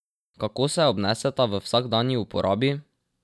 Kako se obneseta v vsakdanji uporabi?